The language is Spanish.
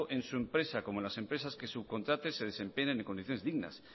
en su empresa como en las empresas que subcontrate se desempeñen en condiciones dignas